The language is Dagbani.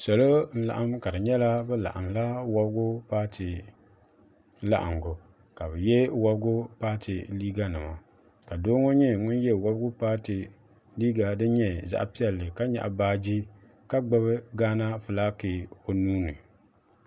Salo n laɣim ka di nyɛla bɛ laɣim la wobgu paati laɣingu ka bɛ ye wabgu paati liiganima ka doo ŋo nye ŋun ye wobgu paati liiga din nye zaɣa piɛlli ka nyaɣi baaji ka gbibi gaana filaaki o nuuni.